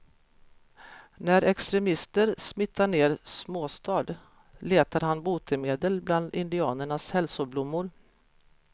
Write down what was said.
När extremister smittar ner småstad letar han botemedel bland indianernas hälsoblommor.